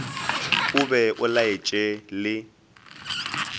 o be o laetše le